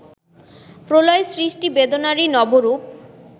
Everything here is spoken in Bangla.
প্রলয় সৃষ্টি বেদনারই নবরূপ